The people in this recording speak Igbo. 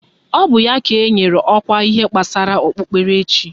Ọ bụ ya ka enyere ọkwa ihe gbasara okpukperechi